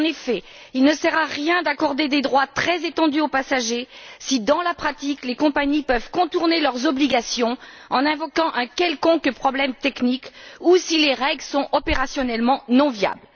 En effet, il ne sert à rien d'accorder des droits très étendus aux passagers si, dans la pratique, les compagnies peuvent contourner leurs obligations en invoquant un quelconque problème technique ou si les règles sont opérationnellement non viables.